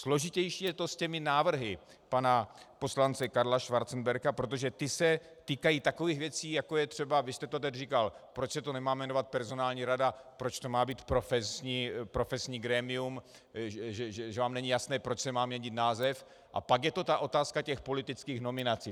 Složitější je to s těmi návrhy pana poslance Karla Schwarzenberga, protože ty se týkají takových věcí, jako je třeba, vy jste to tady říkal, proč se to nemá jmenovat "personální rada", proč to má být "profesní grémium", že vám není jasné, proč se má měnit název, a pak je to ta otázka těch politických nominací.